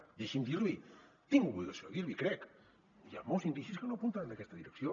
ara deixi’m dir li tinc l’obligació a dir li crec hi ha molts indicis que no apunten en aquesta direcció